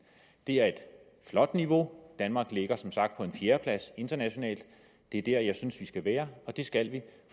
det er et flot niveau danmark ligger som sagt på en fjerdeplads internationalt og det er der jeg synes at vi skal være det skal vi